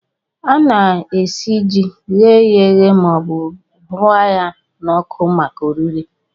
Ana-esi ji, ghee ya eghee maọbụ hụrịa ya n'ọkụ maka oriri